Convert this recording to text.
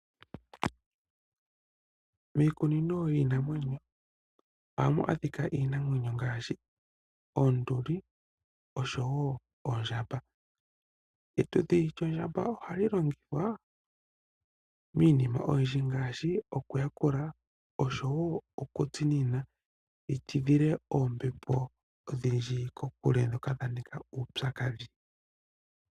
Miikunino yiinamwenyo ohamu adhika iinamwenyo ngaashi oonduli osho wo oondjamba. Etudhi lyondjamba ohali longithwa miinima oyindji ngaashi okuyakula osho wo okutsinina li tidhile oombepo odhindji kokule ndhoka dha nika uupyakadhi.